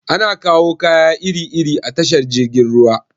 Ana kawo kaya iri iri a tashar jirgin ruwa.